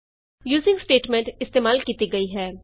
using statement ਇਸਤੇਮਾਲ ਕੀਤੀ ਗਈ ਹੈ